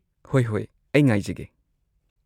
ꯍꯣꯏ ꯍꯣꯏ꯫ ꯑꯩ ꯉꯥꯏꯖꯒꯦ꯫